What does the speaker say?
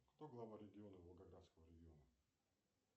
кто глава региона волгоградского региона